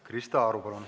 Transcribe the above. Krista Aru, palun!